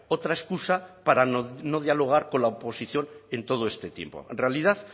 otra excusa para no dialogar con la oposición en todo este tiempo en realidad